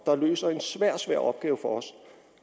der løser en svær svær opgave for os